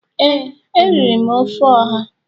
ee, a riri m ofe oha.